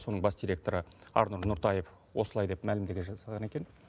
соның бас директоры арнұр нұртаев осылай деп мәлімдеме жасаған екен